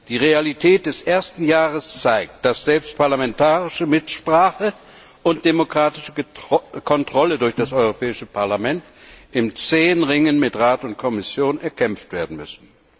Die Realität des ersten Jahres zeigt, dass selbst parlamentarische Mitsprache und demokratische Kontrolle durch das Europäische Parlament in zähem Ringen mit Rat und Kommission erkämpft werden müssen.